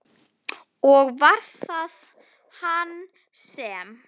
Og var það hann sem?